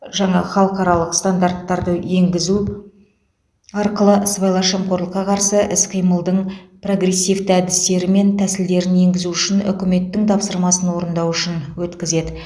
жаңа халықаралық стандарттарды енгізу арқылы сыбайлас жемқорлыққа қарсы іс қимылдың прогрессивті әдістері мен тәсілдерін енгізу үшін үкіметтің тапсырмасын орындау үшін өткізеді